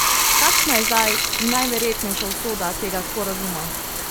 Kakšna je zdaj najverjetnejša usoda tega sporazuma?